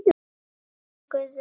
Svona var Guðrún.